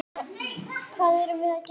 Hvað erum við með hér?